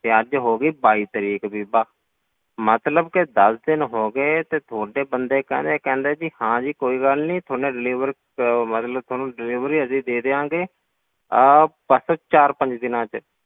ਤੇ ਅੱਜ ਹੋ ਗਈ ਬਾਈ ਤਰੀਕ ਬੀਬਾ, ਮਤਲਬ ਕਿ ਦਸ ਦਿਨ ਹੋ ਗਏ, ਤੇ ਤੁਹਾਡੇ ਬੰਦੇ ਕਹਿੰਦੇ ਕਹਿੰਦੇ ਜੀ ਹਾਂ ਜੀ ਕੋਈ ਗੱਲ ਨੀ ਤੁਹਾਨੂੰ delivery ਅਹ ਮਤਲਬ ਤੁਹਾਨੂੰ delivery ਅਸੀਂ ਦੇ ਦੇਵਾਂਗੇ ਅਹ ਬਸ ਚਾਰ ਪੰਜ ਦਿਨਾਂ ਵਿੱਚ,